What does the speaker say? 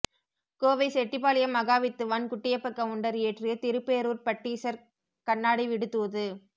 கோவை செட்டிபாளையம் மகாவித்துவான் குட்டியப்ப கவுண்டர் இயற்றிய திருப்பேரூர்ப் பட்டீசர் கண்ணாடி விடுதூது